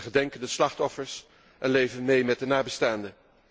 We gedenken de slachtoffers en leven mee met de nabestaanden.